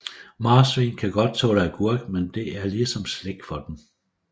Marsvin kan godt tåle agurk men det er ligesom slik for dem